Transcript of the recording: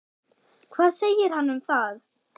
Hvað segir hann um það?